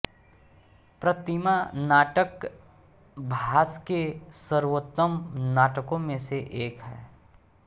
प्रतिमा नाटक भास के सर्वोत्तम नाटकों में से एक है